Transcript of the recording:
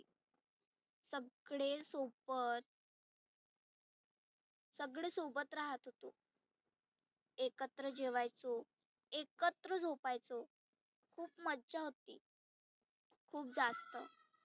सगळे सोबत सगळे सोबत राहत होते. एकत्र जेवायचो, एकत्र झोपायचो, खुप मज्जा होती. खुप जास्त.